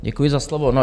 Děkuji za slovo.